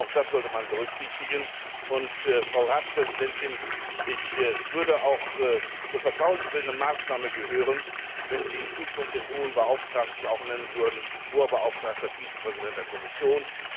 Auch das sollte man berücksichtigen. Frau Ratspräsidentin, es würde auch zur vertrauensbildenden Maßnahme gehören, wenn Sie in Zukunft den Hohen Beauftragten auch nennen würden Hoher Beauftragter Vizepräsident der Kommission.